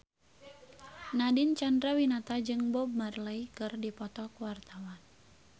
Nadine Chandrawinata jeung Bob Marley keur dipoto ku wartawan